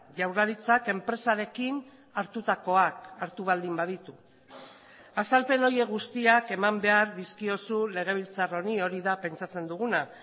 jaurlaritzak enpresarekin hartutakoak hartu baldin baditu azalpen horiek guztiak eman behar dizkiozu legebiltzar honi hori da pentsatzen duguna